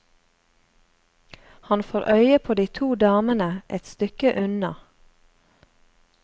Han får øye på de to damene et stykke unna.